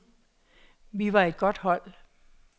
Vi var et godt hold.